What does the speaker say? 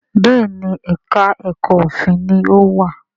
Béèni èka èko òfin ní o wá.